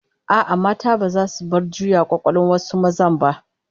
A'a, mata baza su bar juya kwakwalwan wasu mazan ba